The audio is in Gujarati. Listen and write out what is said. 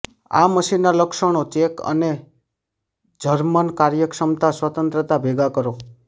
આ મશીન ના લક્ષણો ચેક અને જર્મન કાર્યક્ષમતા સ્વતંત્રતા ભેગા કરો